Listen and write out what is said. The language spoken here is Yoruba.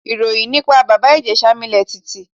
Ìròyìn nípa Bàbá Ìjẹ̀ṣà milẹ̀ tìtì.